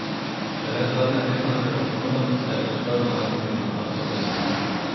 Šele zadnja tedna pred odhodom se je uspel navaditi na ta problem.